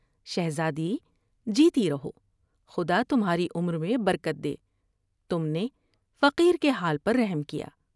شہزادی ، جیتی رہو ، خدا تمھاری عمر میں برکت دے۔ تم نے فقیر کے حال پر رحم کیا ۔